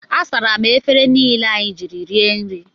Asara m efere niile anyị jiri rie nri.